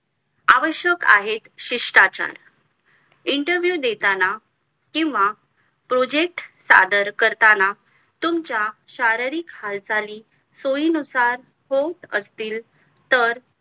आवश्यक आहे शिष्टाचार interview देताना किंवा project सादर करताना तुमच्या शारीरिक हालचाली सोइनुसार होत असतील तर